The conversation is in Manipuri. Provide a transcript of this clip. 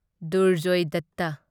ꯗꯨꯔꯖꯣꯢ ꯗꯠꯇ